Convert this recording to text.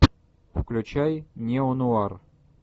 включай неонуар